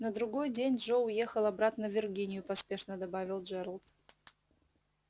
на другой день джо уехал обратно в виргинию поспешно добавил джералд